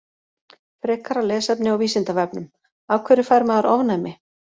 Frekara lesefni á Vísindavefnum: Af hverju fær maður ofnæmi?